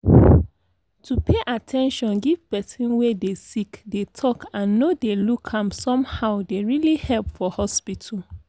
to pay at ten tion give person wey dey sick dey talk and no dey look am somehow dey really help for hospital.